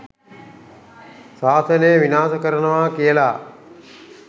ශාසනය විනාශ කරනවා කියලා